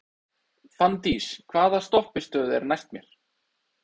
Fanndís, hvaða stoppistöð er næst mér?